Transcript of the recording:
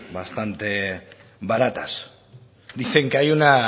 bastante baratas dicen que hay una